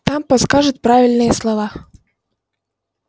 там подскажут правильные слова